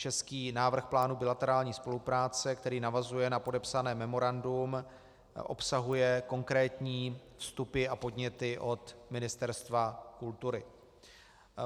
Český návrh plánu bilaterární spolupráce, který navazuje na podepsané memorandum, obsahuje konkrétní vstupy a podněty od Ministerstva kultury.